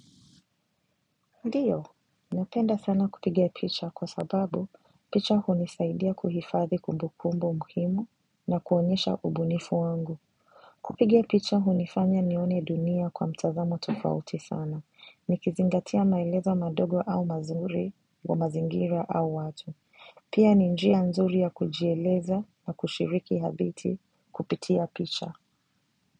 Ndiyo. Napenda sana kupiga picha kwa sababu picha hunisaidia kuhifadhi kumbukumbu muhimu na kuonyesha ubunifu wangu. Kupiga picha hunifanya nione dunia kwa mtazamo tofauti sana, nikizingatia maelezo madogo au mazuri kwa mazingira au watu. Pia ni njia nzuri ya kujieleza na kushiriki habiti kupitia picha.